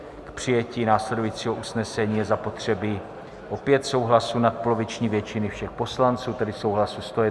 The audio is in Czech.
K přijetí následujícího usnesení je zapotřebí opět souhlasu nadpoloviční většiny všech poslanců, tedy souhlasu 101 poslance.